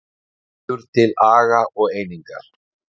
Hvetur til aga og einingar